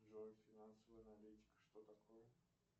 джой финансовая аналитика что такое